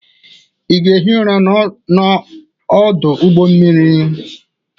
Ị ga-ehi ụra n'ọdụ ụgbọ mmiri?